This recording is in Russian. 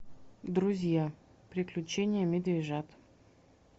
друзья приключения медвежат